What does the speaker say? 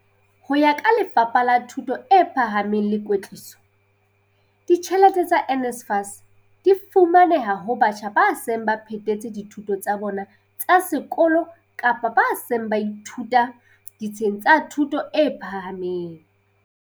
Ho ya ka Lefapha la Thuto e Phahameng le Kwetliso, ditjhelete tsa NSFAS di fumaneha ho batjha ba seng ba phethetse dithuto tsa bona tsa sekolo kapa ba seng ba ithuta ditsheng tsa thuto e phahameng.